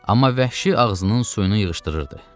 Amma vəhşi ağzının suyunu yığışdırırdı.